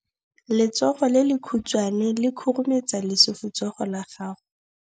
Letsogo le lekhutshwane le khurumetsa lesufutsogo la gago.